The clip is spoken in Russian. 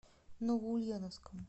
новоульяновском